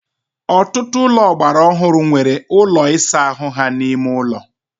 ọtụtụ ụlọ ọgbara ọhụrụ nwere ụlọ ịsa ahụ ha n'ime ụlọ